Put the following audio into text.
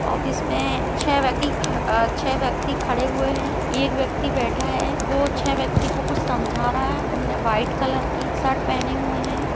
Office में छ व्यक्ति ख छै व्यक्ति खड़े हुए है एक व्यक्ति बैठा है वो छै व्यक्ति को कुछ समझा रहा है उनने वाइट कलर की शर्ट पहने हुए है।